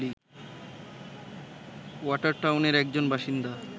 ওয়াটারটাউনের একজন বাসিন্দা